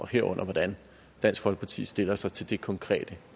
herunder hvordan dansk folkeparti stiller sig til det konkrete